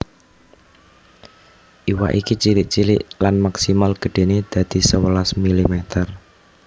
Iwak iki cilik cilik lan maksimal gedhéné dadi sewelas mm